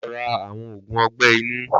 Lọ rà awọn ógún ọgbẹ inu